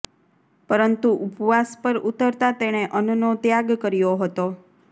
પરંતુ ઉપવાસ પર ઉતરતા તેણે અન્નનો ત્યાગ કર્યો હતો